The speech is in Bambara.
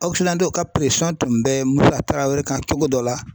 ka tun bɛ Musa Tarawere kan cogo dɔ la.